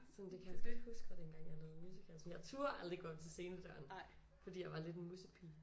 Sådan det kan jeg godt huske fra dengang jeg lavede musicals sådan jeg turde aldrig at gå op til scenedøren fordi jeg var lidt en mussepige